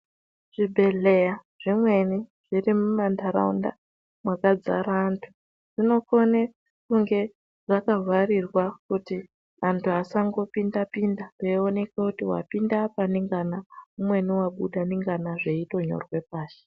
Zvibhehleya zvimweni zviri muma ntaraunda mwakadzara antu zvinokone kunge zvakavharirwa kuti antu asangopinda pinda veioneke kuti wapinda apa ndingana umweni wabuda ndingana zveitonyorwe pashi.